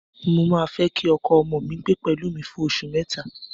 Mo máa fẹ́ kí ọkọ ọmọ mi gbé pẹ̀lú mi fún oṣù mẹ́ta